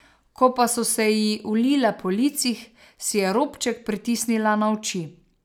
Ko pa so se ji ulile po licih, si je robček pritisnila na oči.